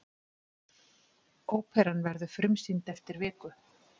Óperan verður frumsýnd eftir viku.